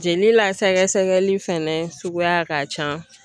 Jeli la sɛgɛsɛgɛli fɛnɛ suguya ka can.